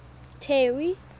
terry